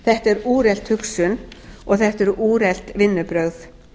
þetta er úrelt hugsun og þetta eru úrelt vinnubrögð